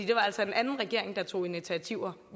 det var altså en anden regering der tog initiativer